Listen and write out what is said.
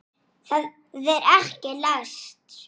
eldra hennar.